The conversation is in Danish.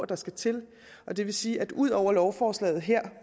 der skal til og det vil sige at ud over lovforslaget her